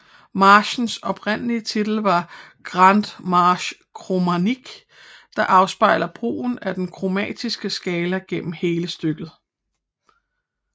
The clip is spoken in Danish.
Marchens oprindelige titel var Grande Marche Chromatique der afspejlede brugen af den kromatiske skala gennem hele stykket